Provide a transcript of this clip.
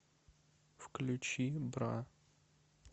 включи бра